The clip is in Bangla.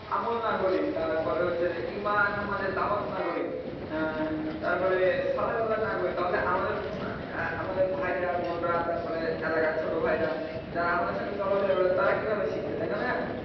আমল না করি তারপরে হচ্ছে যে ইমান আমাদের দাওয়াত না করি, আহ তারপরে না করি তাহলে আমাদের আহ আমাদের ভাইরা বোনরা তারপরে এলাকার ছোট ভাইরা যারা আমাদের সঙ্গে চলা ফিরা করে তাঁরা কিভাবে শিখবে তাই না ভাইয়া?